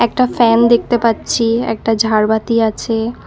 একটা ফ্যান দেখতে পাচ্ছি একটা ঝাড়বাতি আছে।